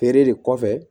Feere de kɔfɛ